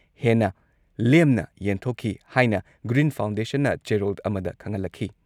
ꯍꯦꯟꯅ ꯂꯦꯝꯅ ꯌꯦꯟꯊꯣꯛꯈꯤ ꯍꯥꯏꯅ ꯒ꯭ꯔꯤꯟ ꯐꯥꯎꯟꯗꯦꯁꯟꯅ ꯆꯦꯔꯣꯜ ꯑꯃꯗ ꯈꯪꯍꯜꯂꯛꯈꯤ ꯫